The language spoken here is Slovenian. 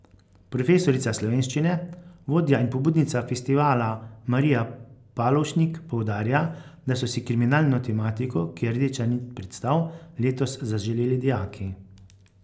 Profesorica slovenščine, vodja in pobudnica festivala Marija Palovšnik poudarja, da so si kriminalno tematiko, ki je rdeča nit predstav, letos zaželeli dijaki.